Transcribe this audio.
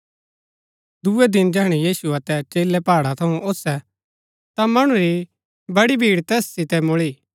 दुऐ दिन जैहणै यीशु अतै चेलै पहाड़ा थऊँ ओसै ता मणु री बड़ी भीड़ तैस सितै मुळी